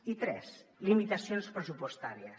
i tres limitacions pressupostàries